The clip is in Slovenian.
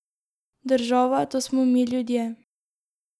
Država, to smo mi, ljudje.